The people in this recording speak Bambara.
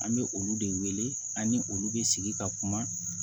An bɛ olu de wele ani olu bɛ sigi ka kuma